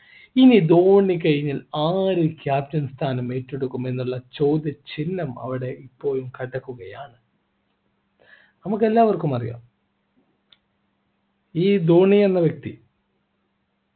ഇനി ധോണി കഴിഞ്ഞാൽ ആര് captain സ്ഥാനം ഏറ്റെടുക്കും എന്നുള്ള ചോദ്യചിഹ്നം അവിടെ കിടക്കുകയാണ് നമുക്കെല്ലാവർക്കും അറിയാം ഈ ധോണി എന്ന വ്യക്തി